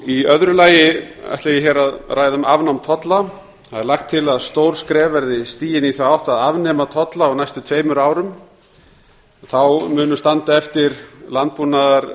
í öðru lagi ætla ég hér að ræða um afnám tolla það er lagt til að stór skref verði tekin í þá átt að afnema tolla á næstu tveimur árum þá munu standa eftir landbúnaðarafurðir